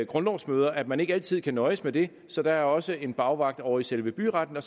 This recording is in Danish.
grundlovsmøder at man ikke altid kan nøjes med det så der er også en bagvagt ovre i selve byretten og